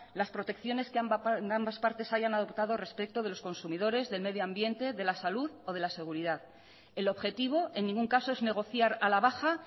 las protecciones que ambas partes hayan adoptado respecto de los consumidores del medioambiente de la salud o de la seguridad el objetivo en ningún caso es negociar a la baja